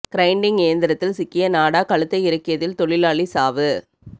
grinding இயந்திரத்தில் சிக்கிய நாடா கழுத்தை இறுக்கியதில் தொழிலாளி சாவு